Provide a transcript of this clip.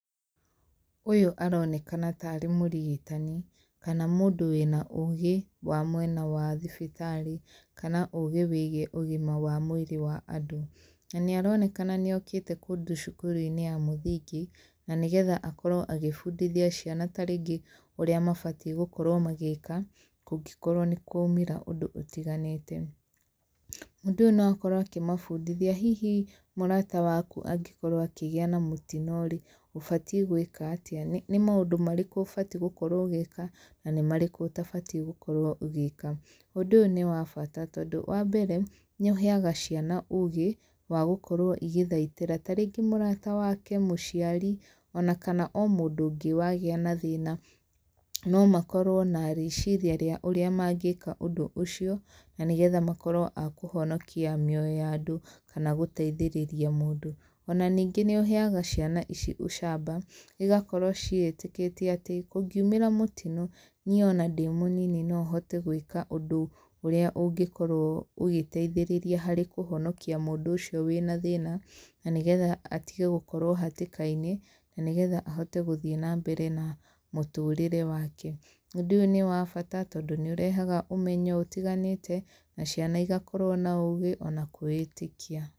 Ũyũ aronekana ta aarĩ mũrigitani, kana mũndũ wĩna ũũgĩ wa mwena wa thibitarĩ, kana ũũgĩ wĩgiĩ ũgima wa mwĩrĩ wa andũ. Na nĩ aronekana nĩ okĩte kũndũ cukuru-inĩ ya mũthingi, na nĩgetha akorwo agĩbundithia ciana tarĩngĩ ũrĩa mabatiĩ gũkorwo magĩĩka, kũngĩkorwo nĩ kwaumĩra ũndũ ũtiganĩte. Mũndũ no akorwo akĩmabundithia, hihi mũrata waku angĩkorwo akĩgĩa na mũtino rĩ, ũbatiĩ gwĩka atĩa? Nĩ nĩ maũndũ marĩkũ ũbati gũkorwo ũgĩka na nĩ marĩkũ ũtabati gũkorwo ũgĩĩka. Ũndũ ũyũ nĩ wa bata tondũ, wa mbere, nĩ ũheaga ciana ũũgĩ, wa gũkorwo igĩthaitĩra tarĩngĩ mũrata wake, mũciari, ona kana o mũndũ ũngĩ wagĩa na thĩna. No makorwo na rĩciria rĩa ũrĩa mangĩka ũndũ ũcio, na nĩgetha makorwo a kũhonokia mĩoyo ya andũ, kana gũteithĩrĩria mũndũ. Ona ningĩ nĩ ũheaga ciana ici ũcamba, igakorwo ciĩtĩkĩtie atĩ, kũngiumĩra mũtino, niĩ ona ndĩ mũnini no hote gwĩka ũndũ ũrĩa ũngĩkorwo ũgĩteithĩrĩria harĩ kũhonokia mũndũ ũcio wĩna thĩna, na nĩgetha atige gũkorwo hatĩka-inĩ, na nĩgetha ahote gũthiĩ na mbere na mũtũrĩre wake. Ũndũ ũyũ nĩ wa bata, tondũ nĩ ũrehaga ũmenyo ũtiganĩte, na ciana igakorwo na ũũgĩ, ona kwĩĩtĩkia.